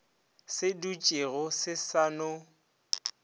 se dutšego se sa no